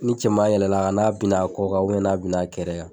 Ni cɛman yɛlɛl'a kan n'a binn'a kɔ kan n'a binn'a kɛrɛ kan